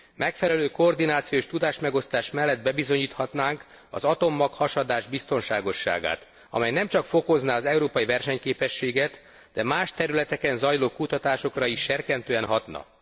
Megfelelő koordináció és tudásmegosztás mellett bebizonyíthatnánk az atommaghasadás biztonságosságát, amely nem csak fokozná az európai versenyképességet, de más területeken zajló kutatásokra is serkentően hatna.